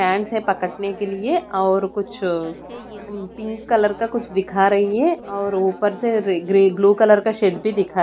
फैनस है पकड़ने के लिए और कुछ ओ पिंक कलर का कुछ दिखा रही है और ऊपर से ग्रे ब्लू कलर का शेड भी दिखा --